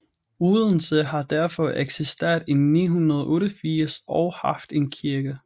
Odense har derfor eksisteret i 988 og haft en kirke